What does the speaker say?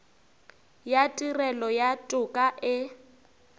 ya tirelo ya toka e